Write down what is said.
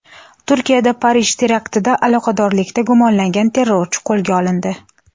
Turkiyada Parij teraktida aloqadorlikda gumonlangan terrorchi qo‘lga olindi.